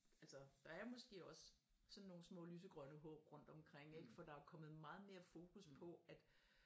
Altså der er måske også sådan nogle små lysegrønne håb rundt omkring ikke for der er kommet meget mere fokus på at